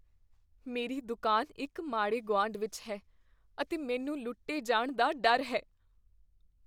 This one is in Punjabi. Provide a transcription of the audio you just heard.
ਮੇਰੀ ਦੁਕਾਨ ਇੱਕ ਮਾੜੇ ਗੁਆਂਢ ਵਿੱਚ ਹੈ ਅਤੇ ਮੈਨੂੰ ਲੁੱਟੇ ਜਾਣ ਦਾ ਡਰ ਹੈ।